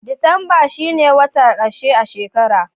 Disamba shi ne wata karshe a shekara.